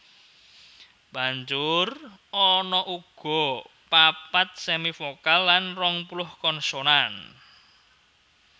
Banjur ana uga papat semivokal lan rongpuluh konsonan